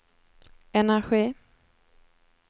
energi